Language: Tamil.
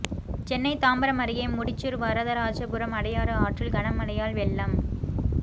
சென்னை தாம்பரம் அருகே முடிச்சூர் வரதராஜபுரம் அடையாறு ஆற்றில் கனமழையால் வெள்ளம்